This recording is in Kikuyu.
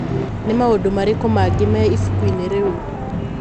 Nĩ maũndũ marĩkũ mangĩ me ibuku-inĩ rĩu?